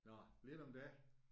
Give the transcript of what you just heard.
Nåh lidt om dig